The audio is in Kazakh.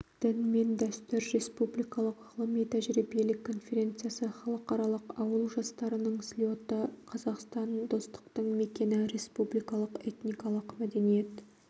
дін мен дәстүр республикалық ғылыми-тәжірибелік конференциясы халықаралық ауыл жастарының слеті қазақстан достықтың мекені республикалық этникалық мәдениет